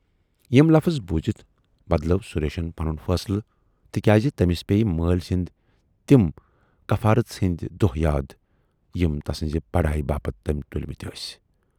یِم لفٕظ بوٗزِتھ بدلاو سُریشن پنُن فٲصلہٕ تِکیازِ تٔمِس پییہِ مٲلۍ سٕندۍ تِم کفارٔژ ہٕندۍ دۅہ یاد یِم تسٕنزِ پڑایہِ باپتھ تٔمۍ تُلۍمٕتۍ ٲسۍ۔